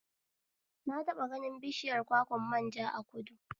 Na taɓa ganin bishiyar kwakwan manja a kudu